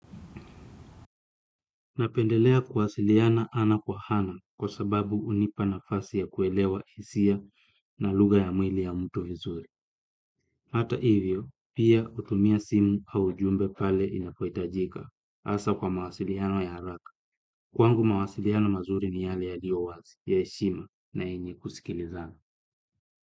Napendelea kuwasiliana ana kwa ana kwa sababu hunipa nafasi ya kuelewa hisia na lugha ya mwili ya mtu vizuri. Hata hivyo, pia utumia simu au jumbe pale inapohitajika asa kwa mawasiliano ya haraka. Kwangu mawasiliano mazuri ni yale yaliowazi ya heshima na yenye kusikilizana.